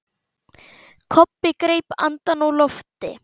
Kobbi greip andann á lofti.